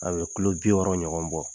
A bɛ kulo bi wolonwula ɲɔgɔn bɔ.